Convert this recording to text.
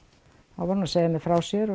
var hún að segja mér frá sér og